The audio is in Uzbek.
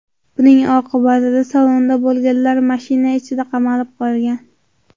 Buning oqibatida salonda bo‘lganlar mashina ichida qamalib qolgan.